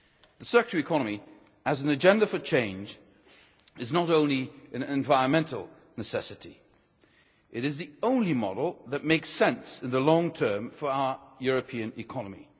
The circular economy, as an agenda for change, is not only an environmental necessity, it is the only model that makes sense in the long term for our European economy.